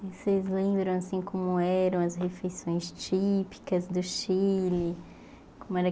Vocês lembram, assim, como eram as refeições típicas do Chile? Como era